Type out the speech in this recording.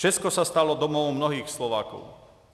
Česko se stalo domovem mnohých Slováků.